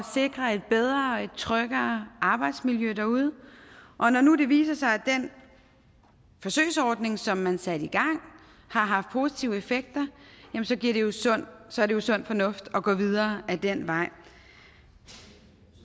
sikre et bedre et tryggere arbejdsmiljø derude når nu det viser sig at den forsøgsordning som man satte i gang har haft positive effekter så er det jo sund fornuft at gå videre ad den vej